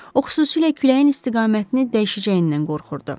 O, xüsusilə küləyin istiqamətini dəyişəcəyindən qorxurdu.